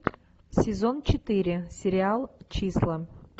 сезон четыре сериал числа